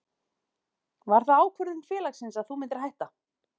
Var það ákvörðun félagsins að þú myndir hætta?